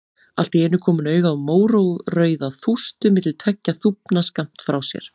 Allt í einu kom hún auga á mórauða þústu milli tveggja þúfna skammt frá sér.